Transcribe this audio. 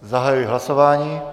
Zahajuji hlasování.